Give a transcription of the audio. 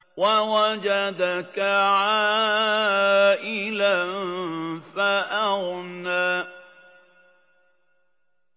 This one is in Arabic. وَوَجَدَكَ عَائِلًا فَأَغْنَىٰ